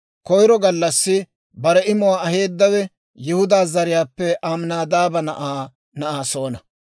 Koyro gallassi bare imuwaa aheedawe Yihudaa zariyaappe Aminaadaaba na'aa Na'asoona.